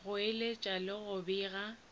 go eletša le go bega